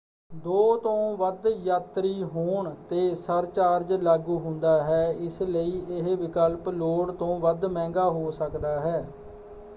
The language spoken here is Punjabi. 2 ਤੋਂ ਵੱਧ ਯਾਤਰੀ ਹੋਣ ‘ਤੇ ਸਰਚਾਰਜ ਲਾਗੂ ਹੁੰਦਾ ਹੈ ਇਸਲਈ ਇਹ ਵਿਕਲਪ ਲੋੜ ਤੋਂ ਵੱਧ ਮਹਿੰਗਾ ਹੋ ਸਕਦਾ ਹੈ।